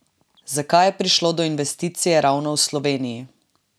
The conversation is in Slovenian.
Zakaj je prišlo do investicije ravno v Sloveniji?